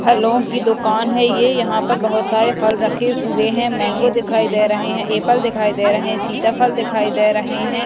फलों की दुकान है ये यहां पर बहोत सारे फल रखे हुए हैं मांगो दिखाई दे रहे हैं एप्पल दिखाई दे रहे है सीताफल दिखाई दे रहे हैं।